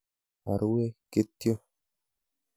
Arue kityo.